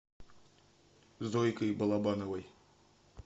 зойкой балабановой